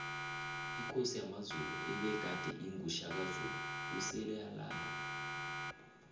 ikosi yamazulu ebegade ingu shaka zulu osele alala